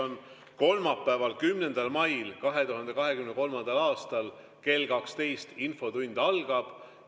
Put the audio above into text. Vastus on: kolmapäeval, 10. mail 2023. aastal kell 12 infotund algab.